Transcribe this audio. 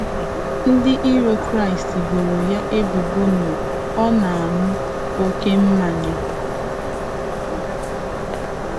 Ndị iro Kraịst boro ya ebubo na ọ ‘na aṅụ oke mmanya.